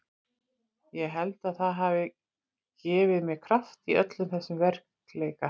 Ég held að það hafi gefið mér kraft í öllum þessum veikleika.